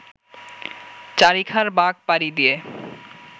চারিখার বাঁক পাড়ি দিয়ে